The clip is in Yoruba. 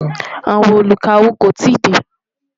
àwọn olú ká owó kò tí dé